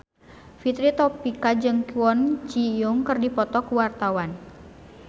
Fitri Tropika jeung Kwon Ji Yong keur dipoto ku wartawan